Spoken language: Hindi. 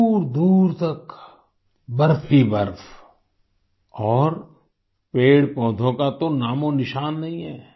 दूरदूर तक बर्फ ही बर्फ और पेड़पौधों का तो नामोनिशान नहीं है